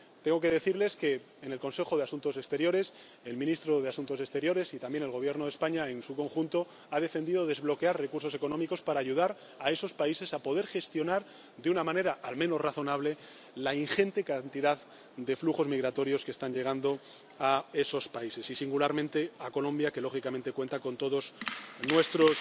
Tengo que decirles que, en el Consejo de Asuntos Exteriores, el ministro de Asuntos Exteriores —y también el Gobierno de España en su conjunto— ha defendido el desbloqueo de los recursos económicos para ayudar a esos países a poder gestionar de una manera al menos razonable la ingente cantidad de flujos migratorios que están llegando a esos países y, singularmente, a Colombia que, lógicamente, cuenta con todo nuestro